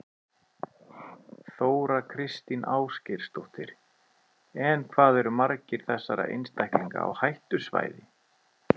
Þóra Kristín Ásgeirsdóttir: En hvað eru margir þessara einstaklinga á hættusvæði?